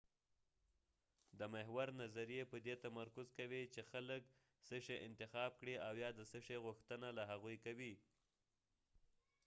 د محور نظریې په دې تمرکز کوي چې خلک څه شی انتخاب کړي او یا د څه شي غوښتنه له هغوي کوي